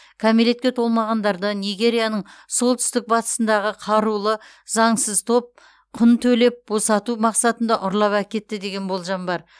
кәмелетке толмағандарды нигерияның солтүстік батысындағы қарулы заңсыз топ құн төлеп босату мақсатында ұрлап әкетті деген болжам бар